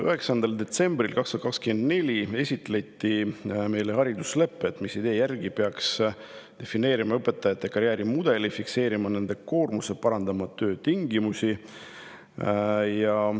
9. detsembril 2024 esitleti meile hariduslepet, mis idee järgi peaks defineerima õpetajate karjäärimudeli, fikseerima nende koormuse ja parandama töötingimusi.